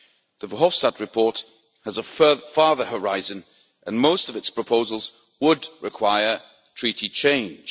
The Verhofstadt report has a farther horizon and most of its proposals would require Treaty change.